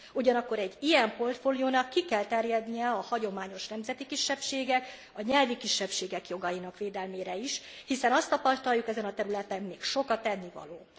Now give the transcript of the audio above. Ugyanakkor egy ilyen portfóliónak ki kell terjednie a hagyományos nemzeti kisebbségek, a nyelvi kisebbségek jogainak védelmére is, hiszen azt tapasztaljuk, ezen a területen még sok a tennivaló.